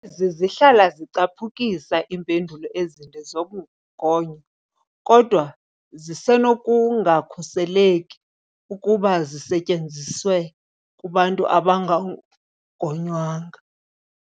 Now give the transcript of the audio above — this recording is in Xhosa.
Ezi zihlala zicaphukisa iimpendulo ezinde zogonyo, kodwa zisenokungakhuseleki ukuba zisetyenziswe kubantu abangagonywanga.